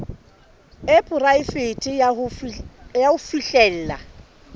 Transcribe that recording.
e poraefete ya ho fihlella